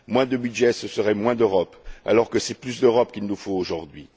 Moins de budget, ce serait moins d'Europe, alors que c'est plus d'Europe qu'il nous faut aujourd'hui.